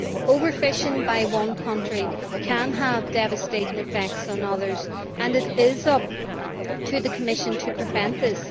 Overfishing by one country can have devastating effects on others and it is up to the Commission to prevent this.